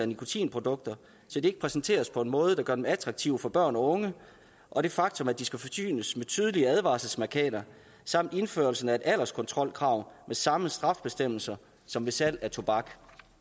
nikotinprodukter så de ikke præsenteres på en måde der gør dem attraktive for børn og unge og det faktum at de skal forsynes med tydelige advarselsmærkater samt indførelsen af et alderskontrolkrav med samme straffebestemmelser som ved salg af tobak